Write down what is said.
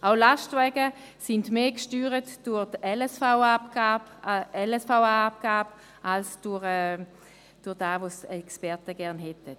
Auch Lastwagen sind mehr durch die LSVA-Abgabe gesteuert als durch das, was die Experten gerne hätten.